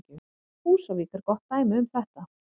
Húsavík er gott dæmi um þetta.